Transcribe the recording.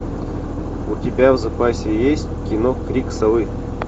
у тебя в запасе есть кино крик совы